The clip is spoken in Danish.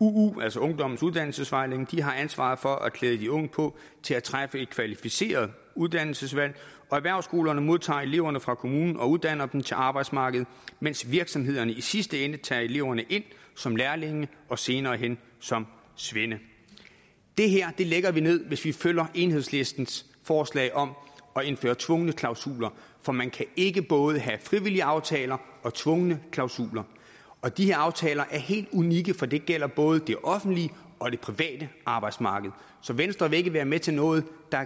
uu altså ungdommens uddannelsesvejledning har ansvaret for at klæde de unge på til at træffe et kvalificeret uddannelsesvalg og erhvervsskolerne modtager eleverne fra kommunen og uddanner dem til arbejdsmarkedet mens virksomhederne i sidste ende tager eleverne ind som lærlinge og senere hen som svende det her lægger vi ned hvis vi følger enhedslistens forslag om at indføre tvungne klausuler for man kan ikke både have frivillige aftaler og tvungne klausuler og de her aftaler er helt unikke for de gælder både det offentlige og det private arbejdsmarked så venstre vil ikke være med til noget der i